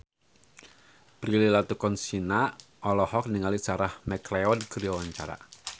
Prilly Latuconsina olohok ningali Sarah McLeod keur diwawancara